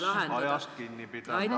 Palun ajast kinni pidada!